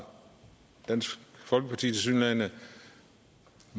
dansk folkeparti